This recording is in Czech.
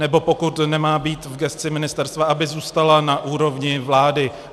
Nebo pokud nemá být v gesci ministerstva, aby zůstala na úrovni vlády.